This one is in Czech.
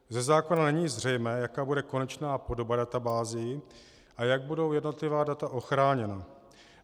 Ze zákona není zřejmé, jaká bude konečná podoba databází a jak budou jednotlivá data ochráněna.